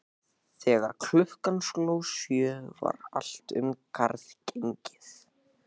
Þegar klukkan sló sjö var allt um garð gengið.